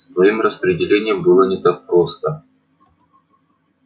с твоим распределением было не так просто